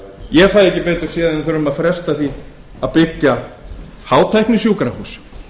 ég fæ ekki betur séð en við þurfum að fresta því að byggja hátæknisjúkrahús